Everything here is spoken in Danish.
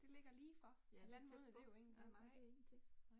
Det ligger lige for. Halvanden måned det jo ingenting nej